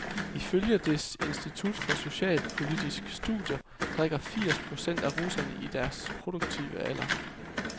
Ifølge dets institut for socialpolitiske studier, drikker firs procent af russerne i den produktive alder.